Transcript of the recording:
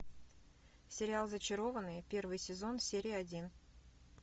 сериал зачарованные первый сезон серия один